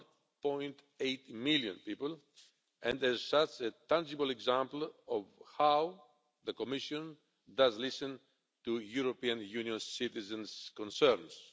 1.8 million people and as such a tangible example of how the Commission does listen to European Union citizens' concerns.